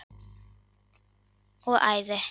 og ævi.